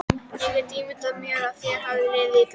Ég get ímyndað mér að þér hafi liðið illa.